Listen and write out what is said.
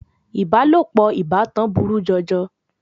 Ìbálòpọ̀ ìbátan burú jọjọ.